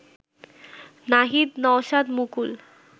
Nahid Naushad Mukul